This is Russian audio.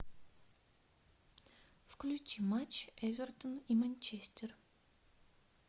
включи матч эвертон и манчестер